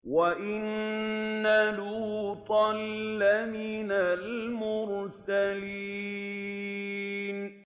وَإِنَّ لُوطًا لَّمِنَ الْمُرْسَلِينَ